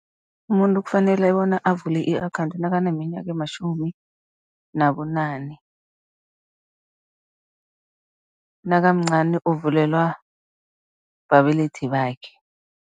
Umuntu kufanele bona avule i-akhawundi nakaneminyaka ematjhumi nabunane, nakamncani uvulelwa babelethi bakhe.